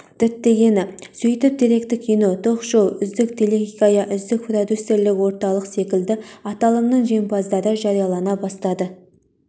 діттегені сөйтіп деректі кино ток-шоу үздік телехикая үздік продюсерлік орталық секілді аталымның жеңімпаздары жариялана бастады